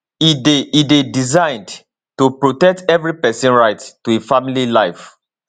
e dey e dey designed to protect evri pesin right to a family life